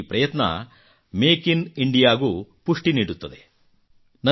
ಅವರ ಈ ಪ್ರಯತ್ನ ಮೇಕ್ ಇನ್ ಇಂಡಿಯಾಗೂ ಪುಷ್ಟಿ ನೀಡುತ್ತದೆ